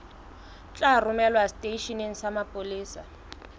tla romelwa seteisheneng sa mapolesa